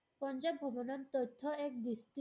পঞ্জাৱ ভ্ৰমনৰ তথ্য এক